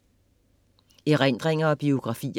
Erindringer og biografier